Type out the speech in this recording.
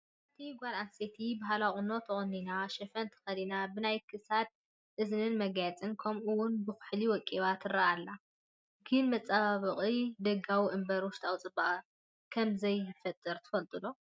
ሓንቲ ጓል ኣነስተይቲ ባህላዊ ቁኖ ተቖኒና፣ ሽፎን ተኸዲና ብናይ ክሳድን እዝንን መጋየፂ ከምኡውን ብኹሕሊ ወቂባ ትርአ ኣላ፡፡ ግን መፀባበቒ ደጋዊ እምበር ውሽጣዊ ፅባቐ ከምዘይፈጥር ትፈልጡ ዶ?